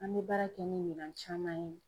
An bɛ baara kɛ ni minan caman ye.